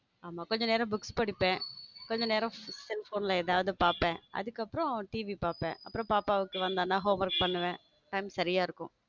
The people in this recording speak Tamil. ஆமா கொஞ்ச நேரம் புக்ஸ் படிப்பேன் கொஞ்ச நேரம் cell phone ல ஏதாவது பாப்பேன் அதுக்கப்புறம் TV பார்ப்பேன் அப்புறம் பாப்பா வந்தான்னா home work பண்ணுவேன் time சரியா இருக்கும்.